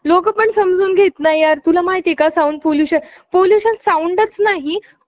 आपल्या देशाला hockey मध्ये स्थान मिळवण्यासाठी मुख्य कारण म्हणजे आपल्या देशातील खेळाडूंचे hockey कडे असलेले समर्पण.